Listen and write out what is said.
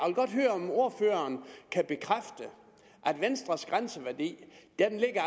godt høre om ordføreren kan bekræfte at venstres grænseværdi